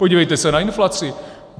Podívejte se na inflaci!